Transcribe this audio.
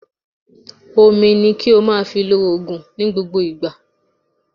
omí ní kí o máà fí ló òògùn ní gbógbó ìgbà.